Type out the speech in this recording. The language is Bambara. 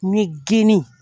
N mɛ geni